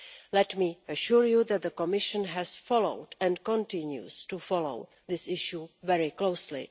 Let me assure you that the Commission has followed and continues to follow this issue very closely.